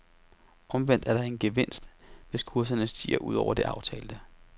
Omvendt er der en gevinst, hvis kurserne stiger ud over det aftalte.